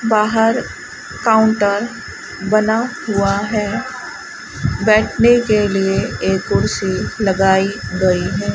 बाहर काउंटर बना हुआ है बैठने के लिए एक कुर्सी लगाई गई है।